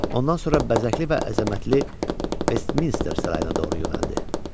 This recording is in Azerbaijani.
Ondan sonra bəzəkli və əzəmətli Vestminister sarayına doğru yönəldi.